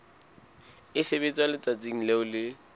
e sebetswa letsatsing leo e